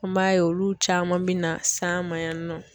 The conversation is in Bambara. An b'a ye olu caman bɛ na s'an ma yan nɔ.